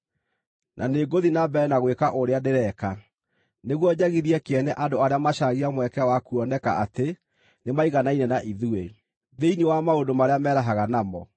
Na nĩngũthiĩ na mbere na gwĩka ũrĩa ndĩreka, nĩguo njagithie kĩene andũ arĩa macaragia mweke wa kuoneka atĩ nĩmaiganaine na ithuĩ, thĩinĩ wa maũndũ marĩa merahaga namo.